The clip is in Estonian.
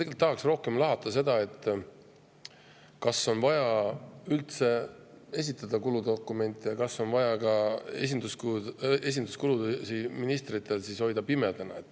Ma tahan rohkem lahata seda, kas on vaja üldse esitada kuludokumente ja kas on vaja ministrite esinduskulusid pimedana hoida.